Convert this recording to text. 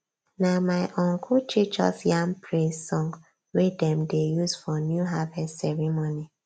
na my uncle teach us yam praise song wey dem dey use for new harvest ceremony